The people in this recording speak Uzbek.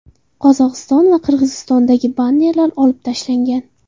Qozog‘iston va Qirg‘izistondagi bannerlar olib tashlangan.